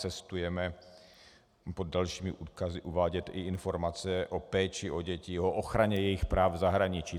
Cestujeme pod dalšími odkazy uvádět i informace o péči o děti, o ochraně jejich práv v zahraničí.